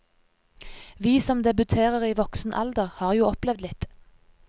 Vi som debuterer i voksen alder, har jo opplevd litt.